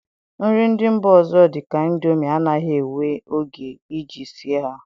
Nri ndị mba ọzọ dị ka ịndomi anaghị ewe oge iji sie ha